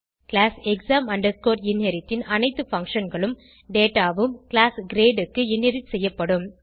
class exam inherit ன் அனைத்து functionகளும் டேட்டா உம் கிளாஸ் கிரேட் க்கு இன்ஹெரிட் செய்யப்படும்